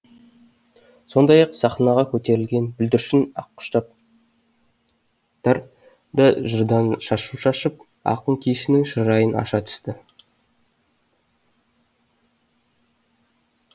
сондай ақ сахнаға көтерілген бүлдіршін ақұштаптар да жырдан шашу шашып ақын кешінің шырайын аша түсті